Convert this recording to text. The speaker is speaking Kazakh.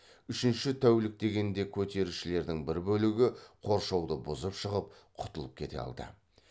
үшінші тәулік дегенде көтерілісшілердің бір бөлігі қоршауды бұзып шығып құтылып кете алды